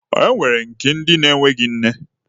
E nwere nke ndi enweghị nne.